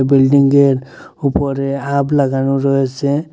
বিল্ডিংয়ের উপরে আব লাগানো রয়েছে।